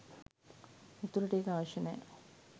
උතුරට ඒක අවශ්‍ය නෑ